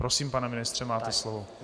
Prosím, pane ministře, máte slovo.